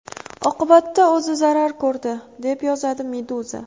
Oqibatda o‘zi zarar ko‘rdi, deb yozadi Meduza.